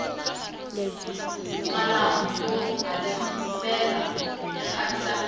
malambhu yo hatimela ya khavisa miti